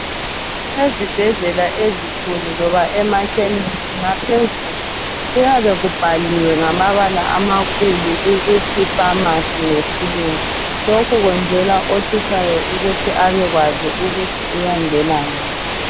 Ezibhedlela ezinkulu loba emakhemisi ngaphezulu kuyabe kubhaliwe ngamabala amakhulu ukuthi famasi ngesilungu lokhu kwenzelwa othutshayo ukuthi abekwazi ukuthi uyangena ngaphi.